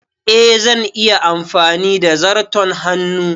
Eh, zan iya amfani da zarton hannu.